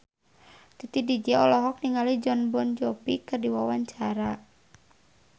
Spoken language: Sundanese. Titi DJ olohok ningali Jon Bon Jovi keur diwawancara